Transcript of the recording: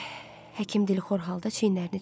Həkim dilxor halda çiynlərini çəkdi.